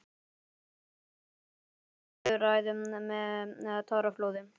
Stundum lauk þessum þrumuræðum með táraflóði.